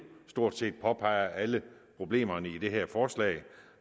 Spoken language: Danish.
stort set påpeger alle problemerne i det her forslag